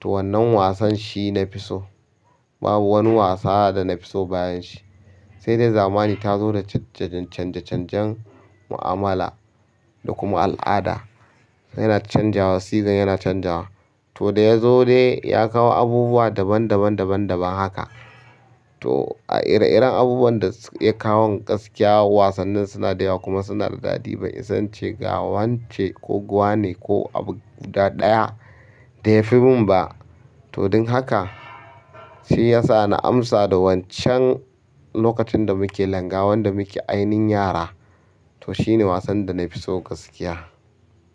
To wannan wasan shi na fi so. Babu wani wasa da na fi so bayan shi. Sai dai zamani ta zo da canje-canjen mu'amala da kuma al'ada yana canjawa, season yana canjawa. To da ya zo dai ya kawo abubuwa daban-daban, daban-daban haka. To a ire iren abubuwan da ya kawo gaskiya wasannin suna da yawa kuma suna da daɗi. Bai isa ince ga wance, ko gwa ne ko abu guda ɗaya da ya fi min ba. To don haka shiyasa na amsa da wan can lokacin da muke langa wanda muke ainihin yara to shi ne wasan da na fi so gaskiya.